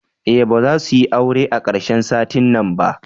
Eh bazasuyi aure a karshen satin nan ba.